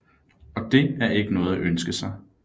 Og det er ikke noget at ønske sig